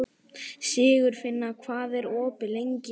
Sigurfinna, hvað er opið lengi á laugardaginn?